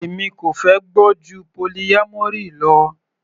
Èmi kò fẹ́ gbọ́ ju polyamory lọ.